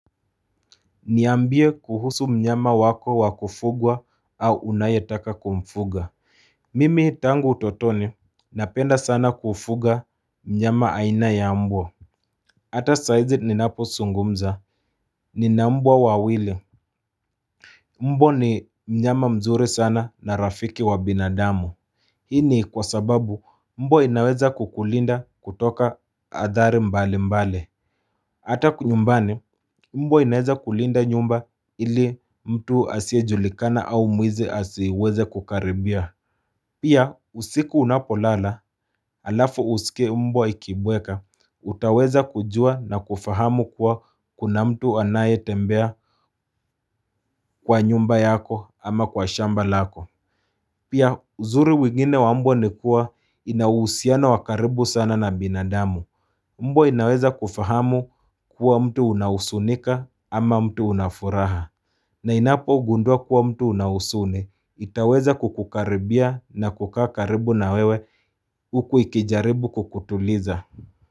Niambie kuhusu mnyama wako wa kufugwa au unayetaka kumfuga Mimi tangu utotoni napenda sana kufuga mnyama aina ya mbwa Hata saizi ninaposungumza nina mbwa wawili Mbwa ni mnyama mzuri sana na rafiki wa binadamu Hi ni kwa sababu mbwa inaweza kukulinda kutoka adhari mbalimbali Hata huku nyumbani mbwa inaweza kulinda nyumba ili mtu asiyejulikana au mwizi asiweze kukaribia Pia usiku unapolala alafu usikie mbwa ikibweka utaweza kujua na kufahamu kuwa kuna mtu anayetembea kwa nyumba yako ama kwa shamba lako Pia uzuri mwingine wa mbwa ni kua inahusiano wa karibu sana na binadamu Mbwa inaweza kufahamu kuwa mtu unahusunika ama mtu una furaha na inapogundua kuwa mtu una husuni, itaweza kukukaribia na kukaa karibu na wewe huku ikijaribu kukutuliza.